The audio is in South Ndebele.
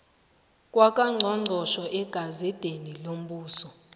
kwakangqongqotjhe egazedeni yombuso